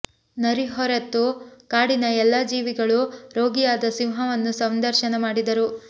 ನರಿ ಹೊರತು ಕಾಡಿನ ಎಲ್ಲಾ ಜೀವಿಗಳೂ ರೋಗಿಯಾದ ಸಿಂಹವನ್ನು ಸಂದರ್ಶನ ಮಾಡಿದರು